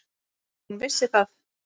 Hún vissi það.